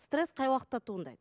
стресс қай уақытта туындайды